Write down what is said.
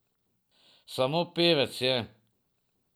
Samo pevec je.